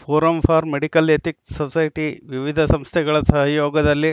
forum for medical ethics society ವಿವಿಧ ಸಂಸ್ಥೆಗಳ ಸಹಯೋಗದಲ್ಲಿ